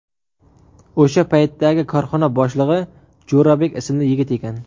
O‘sha paytdagi korxona boshlig‘i Jo‘rabek ismli yigit ekan.